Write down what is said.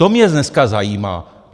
To mě dneska zajímá!